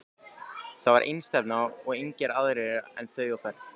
Þar var einstefna og engir aðrir en þau á ferð.